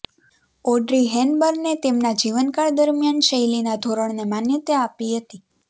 Audrey હેપબર્નએ તેમના જીવનકાળ દરમિયાન શૈલીના ધોરણને માન્યતા આપી હતી